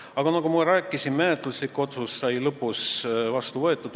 Aga nagu ma rääkisin, menetluslik otsus sai vastu võetud.